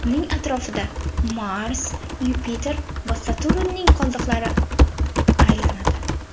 Uning atrofida Mars, Yupiter va Saturnning qoldiqlari aylanadi.